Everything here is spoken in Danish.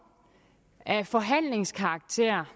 af forhandlingskarakter